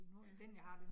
Ja